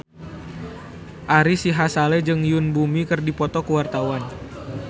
Ari Sihasale jeung Yoon Bomi keur dipoto ku wartawan